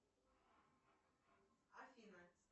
афина